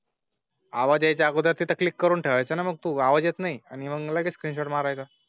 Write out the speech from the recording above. आवाजा च्या अगोदर तिथे क्लिक करून ठेवाय चा. मग तो आवाज येत नाही आणि मग लगेच किचन मारायला.